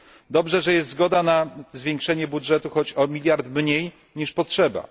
Dobrze, że jest zgoda na zwiększenie budżetu, choć o miliard mniej niż potrzeba.